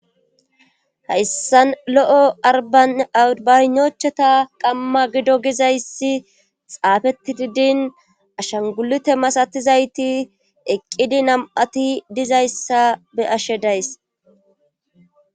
hayssan lo7o abanochata qamma gido gizayssi xaafetididin ashangulute masatizayti eqqidi nam7ati dizayssa be ashe days